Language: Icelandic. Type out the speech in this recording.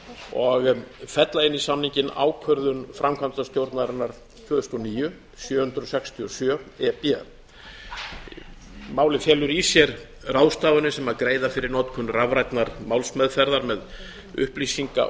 og fella inn í samninginn ákvörðun framkvæmdastjórnarinnar tvö þúsund og níu sjö hundruð sextíu og sjö e b málið felur í sér ráðstafanir sem greiða fyrir notkun rafrænnar málsmeðferðar með upplýsinga